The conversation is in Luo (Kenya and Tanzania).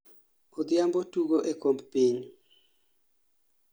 odhiambo tugo e okomb piny